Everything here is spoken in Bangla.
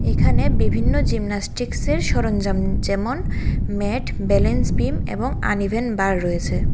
এখানে বিভিন্ন জিমনাস্টিকসের সরঞ্জাম যেমন- ম্যাট ব্যালেন্স বিম এবং আনইভেন বার রয়েছে।